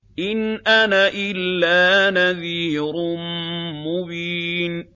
إِنْ أَنَا إِلَّا نَذِيرٌ مُّبِينٌ